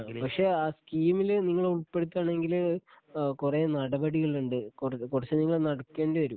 ആ പക്ഷേ ആ സ്കീമില് നിങ്ങളെ ഉൾപ്പെടുത്തണങ്കില് ഏഹ് കുറേ നടപടികലുണ്ട് കുറ കുറച്ച് നിങ്ങൾ നടക്കേണ്ടി വരും